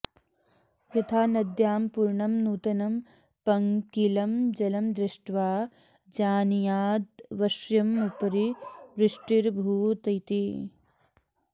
यथा नद्यां पूर्णं नूतनं पङ्किलं जलं दृष्ट्वा जानीयादवश्यमुपरि वृष्टिरभूदिति